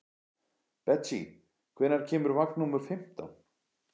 Betsý, hvenær kemur vagn númer fimmtán?